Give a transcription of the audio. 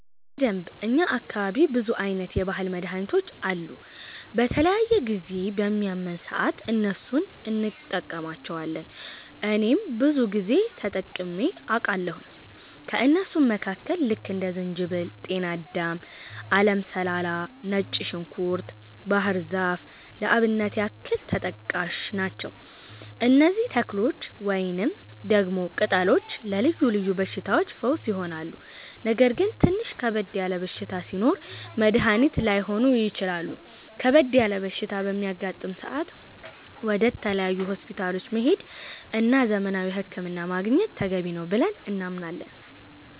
በደንብ፣ እኛ አካባቢ ብዙ አይነት የባህል መድሀኒቶች አሉ። በተለያየ ጊዜ በሚያመን ሰአት እነሱን እንቀማለቸዋለን እኔም ብዙ ጊዜ ተጠቅሜ አቃለሁኝ። ከእነሱም መካከል ልክ እንደ ዝንጅበል፣ ጤናዳም፣ አለም ሰላላ፣ ነጭ ዝንኩርት፣ ባህር ዛፍ ለአብነት ያክል ተጠቃሽ ናቸው። እነዚህ ተክሎች ወይንም ደግሞ ቅጠሎች ለልዮ ልዮ በሽታዎች ፈውስ ይሆናሉ። ነገር ግን ትንሽ ከበድ ያለ በሽታ ሲኖር መድኒት ላይሆኑ ይችላሉ ከበድ ያለ በሽታ በሚያጋጥም ሰአት ወደ ተለያዩ ሆስፒታሎች መሄድ እና ዘመናዊ ህክምና ማግኘት ተገቢ ነው ብለን እናምናለን።